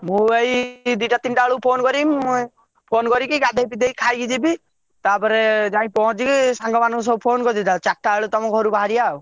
ମୁଁ ଏଇ ଦି ଟା ତିନ ଟା ବେଳକୁ phone କରିବି ମୁଁ phone କରିକି ଗାଧେଇ ପାଧେଇ ଖାଇକି ଯିବି ତାପରେ ଯାଇ ପହଞ୍ଚିକି ସାଙ୍ଗମାନକୁ ସବୁ phone କରିଦେଇଥିବା ଚାରିଟା ବେଳକୁ ତମ ଘରୁ ବାହାରିବ ଆଉ।